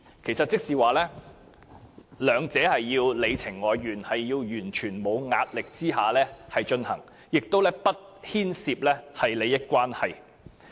意思是雙方必須你情我願，要在完全沒有壓力下進行，亦不能牽涉任何利益關係。